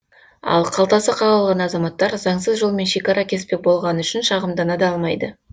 ал қалтасы қағылған азаматтар заңсыз жолмен шекара кеспек болғаны үшін шағымдана да алмайды